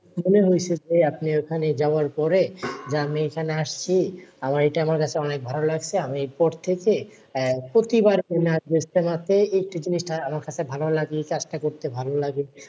মনে হইছে ভাই আপনি ওখানে যাওয়ার পরে যে আমি এইখানে আসছি। আমার এটা আমার কাছে অনেক ভালো লাগছে আমি এরপর থেকে আহ প্রতিবার এখানে আসবো ইজতেমাতে। এটা জিনিসটা আমার কাছে ভালো লাগে এই কাজটা করতে ভালোলাগে।